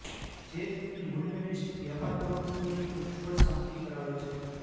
જે તેમની મૂલ્યનિષ્ઠ વ્યાપાર પ્રવૃત્તિઓની ઉજ્જવળ ઝાંખી કરાવે છે